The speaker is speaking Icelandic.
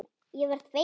Ég verð feimin.